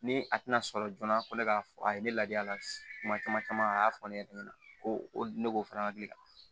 Ni a tɛna sɔrɔ joona ko ne k'a fɔ a ye ne ladiya a la kuma caman a y'a fɔ ne yɛrɛ ɲɛna ko o ne b'o fana hakili la